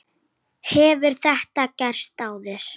Hefur þetta gerst áður?